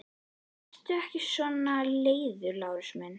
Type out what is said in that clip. Vertu ekki svona leiður, Lárus minn!